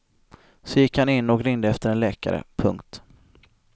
Så gick han in och ringde efter en läkare. punkt